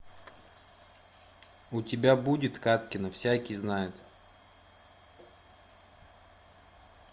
у тебя будет кадкина всякий знает